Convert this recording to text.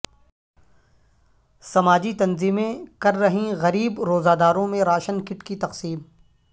سماجی تنظیمیں کر رہیں غریب روزہ داروں میں راشن کٹ کی تقسیم